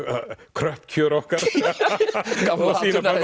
kröpp kjör okkar gamla